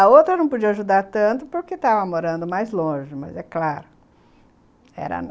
A outra não podia ajudar tanto porque estava morando mais longe, mas é claro, era a